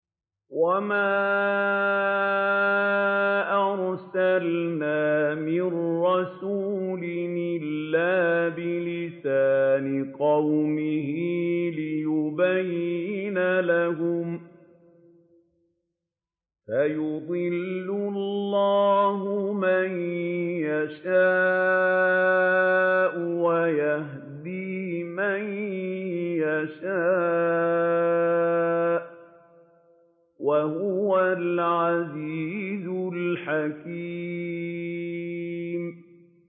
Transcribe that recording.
وَمَا أَرْسَلْنَا مِن رَّسُولٍ إِلَّا بِلِسَانِ قَوْمِهِ لِيُبَيِّنَ لَهُمْ ۖ فَيُضِلُّ اللَّهُ مَن يَشَاءُ وَيَهْدِي مَن يَشَاءُ ۚ وَهُوَ الْعَزِيزُ الْحَكِيمُ